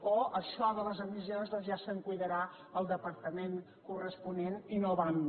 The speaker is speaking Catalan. o això de les emissions doncs ja se’n cuidarà el departament corresponent i no va amb mi